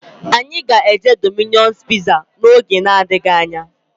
Anyị ga-eje Domino's piza oge na-adịghị anya